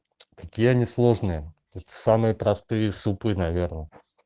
какие они сложные это самые простые супы наверное